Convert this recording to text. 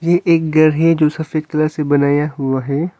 ये एक घर है जो सफेद कलर से बनाया हुआ है।